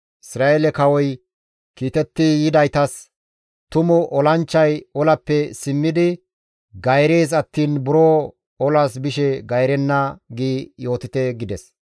Isra7eele kawoy kiitetti yidaytas, « ‹Tumu olanchchay olappe simmidi gayrees attiin buro olas bishe gayrenna› giidi yootite» gides.